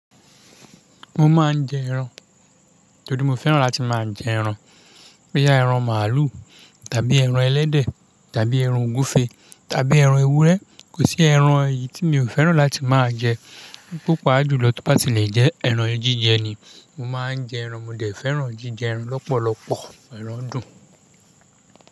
Mo máa ń jẹ ẹran. Tori mo fẹ́ràn láti máa jẹ ẹran. Boyá ẹran màlúù tàbí ẹran ẹlẹ́dẹ̀ tàbí ẹran ogúfe tàbí ẹran ewúrẹ́. Kò sí ẹran èyí tí mi ò fẹ́ràn láti máa jẹ. Paapájùlọ tó bá ti lè jẹ ẹran jíjẹ ni. Mo máa ń jẹ ẹran, mo dè fẹ́ràn jíjẹ ẹran lọ́pọ̀lọpọ̀. Ẹran dùn.